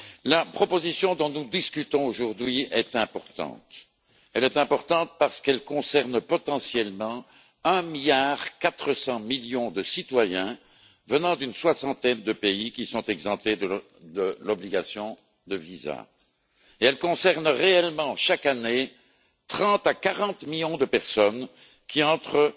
La proposition dont nous discutons aujourd'hui est importante, parce qu'elle concerne potentiellement 1,4 milliard de citoyens venant d'une soixantaine de pays, qui sont exemptés de l'obligation de visa, et elle concerne réellement chaque année 30 à 40 millions de personnes qui entrent